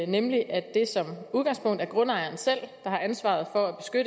nemlig at det som udgangspunkt er grundejeren selv der har ansvaret for